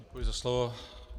Děkuji za slovo.